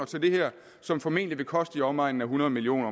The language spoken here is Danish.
til det her som formentlig vil koste i omegnen af hundrede million